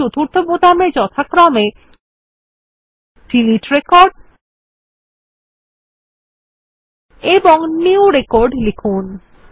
ও new record লিখুন